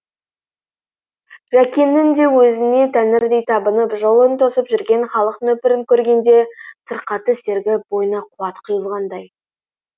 жәкеңнің де өзіне тәңірдей табынып жолын тосып жүрген халық нөпірін көргенде сырқаты сергіп бойына қуат құйылғандай